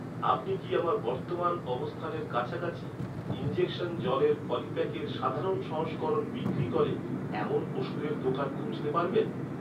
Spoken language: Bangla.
আপনি কি, আমার বর্তমান অবস্থানের কাছাকাছি, ইনজেকশন জলের পলিপ্যাকের সাধারণ সংস্করণ বিক্রি করে, এমন ওষুধের দোকান খুঁজতে পারবেন?